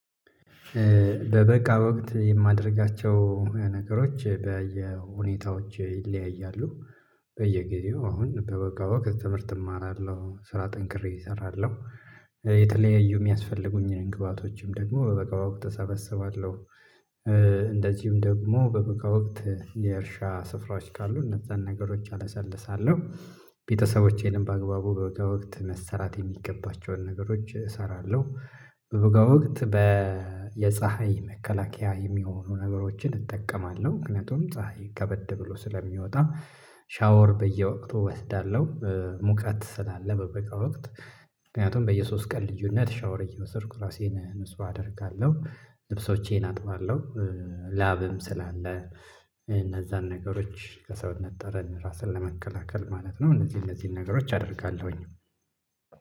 በበጋ ወቅት የማደርጋቸው ነገሮች በየሁኔታዎች ይለያያሉ። በየጊዜው አሁን በበጋ ወቅት ትምህርት እማራለሁ ስራ ጠንክሬ እሰራለሁ። የተለያዩ የሚያስፈልጉኝን ግብአቶችንም ደግሞ በበጋ ወቅት እሰበስባለሁ። እንደዚህም ደግሞ በበጋ ወቅት የእርሻ ስፍራዎች ካሉ እነዛን ነገሮች አለሰልሳለሁ። ቤተሰቦቼንም በአግባቡ በበጋ ወቅት መሰራት የሚገባቸውን ነገሮች እሰራለሁ። በበጋ ወቅት በ የፀሀይ መከላከያ የሚሆኑ ነገሮችን እጠቀማለሁ ምክንያቱም ፀሀይ ከበድ ብሎ ስለሚወጣ። ሻወር በየወቅቱ እወስዳለሁ። ሙቀት ስላለ በበጋ ወቅት ምክንያቱም በየሶስት ቀን ልዩነት ሻወር እየወሰድኩ ራሴን ንጹ አደርጋለሁ። ልብሶቼን አጥባለሁ። ላብም ስላለ እነዛን ነገሮች ከሰውነት ጠረን ራስን ለመከላከል ማለት ነው። እነዚህ እነዚህን ነገሮች አደርጋለሁኝ።